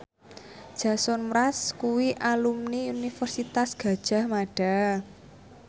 Jason Mraz kuwi alumni Universitas Gadjah Mada